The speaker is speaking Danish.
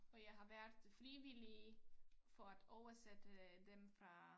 Og jeg har været frivillig for et år siden dem fra